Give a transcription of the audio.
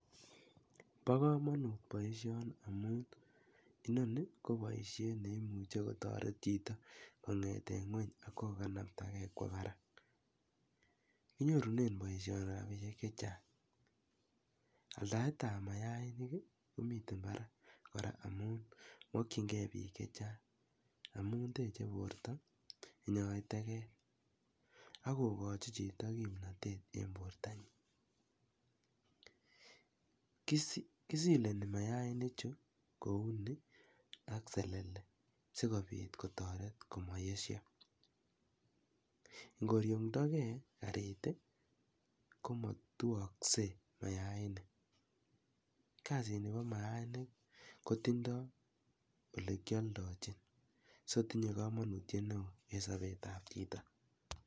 Bo kamanut boisioni amun inoni ko boisiet ne imuche kotaret chito kongeten ngwony ak koganaptagei kwo barak. Kinyorunen boisioni rapinik che chang. Aldaetab mayainik ko miten barak kora amun mokwinnge pik che chang amun teche borto, inyoe teget ak kogochi chito kimnatet eng bortanyin. Kisileni mayaini chu ak selele sigopit kotaret komayesyo. Ngoryongndage karit ii, koma tuakse mayainik. Kasini bo mayainik kotindo olekialdochin. Sotinye kamanutiet neo en sopetab chito.